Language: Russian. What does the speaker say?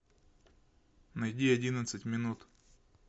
найди одиннадцать минут